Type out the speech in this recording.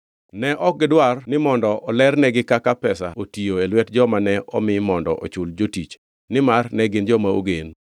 Ne ok gidwar ni mondo olernegi kaka pesa otiyo e lwet joma ne omi mondo ochul jotich, nimar ne gin joma ogen.